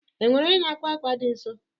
Enwere onye n'akwa akwa dị nso?